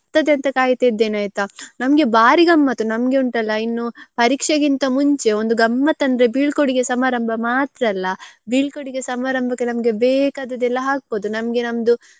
ಅಂತ ಕಾಯ್ತಿದ್ದೇನೆ ಆಯ್ತಾ ನಮ್ಗೆ ಬಾರಿ ಗಮ್ಮತ್ತು ನಮ್ಗೆ ಉಂಟಲ್ಲ ಇನ್ನೂ ಪರೀಕ್ಷೆಗಿಂತ ಮುಂಚೆ ಒಂದು ಗಮ್ಮತ್ತ್ ಅಂದ್ರೆ ಬೀಳ್ಕೊಡುಗೆ ಸಮಾರಂಭ ಮಾತ್ರಲ್ಲ ಬೀಳ್ಕೊಡುಗೆ ಸಮಾರಂಭಕ್ಕೆ ನಮ್ಗೆ ಬೇಕಾದುದೆಲ್ಲಾ ಹಾಕ್ಬೋದು ನಮ್ಗೆ ನಮ್ದು.